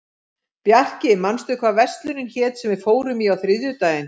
Bjarki, manstu hvað verslunin hét sem við fórum í á þriðjudaginn?